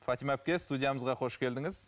фатима әпке студиямызға қош келдіңіз